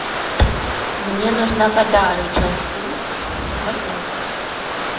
мне нужна вода рычал су ноль пять